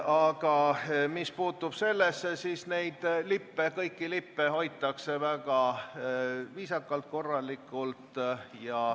Aga mis puutub lippudesse, siis kõiki lippe hoitakse väga viisakalt ja korralikult.